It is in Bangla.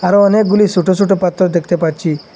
আরও অনেকগুলি সোটো সোটো পাথর দেখতে পাচ্ছি।